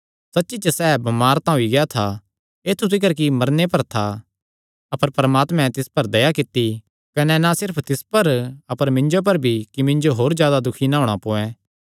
सच्ची च सैह़ बमार तां होई गेआ था ऐत्थु तिकर कि मरने पर था अपर परमात्मैं तिस पर दया कित्ती कने ना सिर्फ तिस पर अपर मिन्जो पर भी कि मिन्जो होर जादा दुखी ना होणा पोयैं